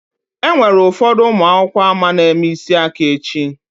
Enwere ụfọdụ ụmụ akwụkwọ ama na-eme isi aka echi.